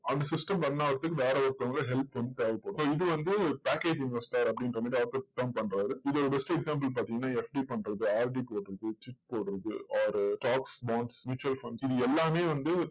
அந்த system run ஆவதற்கு வேற ஒருத்தவங்க help வந்து தேவைப்படும். so இது வந்து package investor அப்படின்ற மாதிரி author வந்து term பண்றாரு. இதுக்கு best example பார்த்தீங்கன்னா FD பண்றது RD போடுறது chit போடுறது or stocks bonds mutual funds இது எல்லாமே வந்து